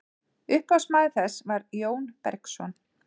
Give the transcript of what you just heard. upphafsmaður þess var jón bergsson